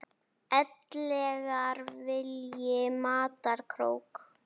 ellegar vilji mata krók.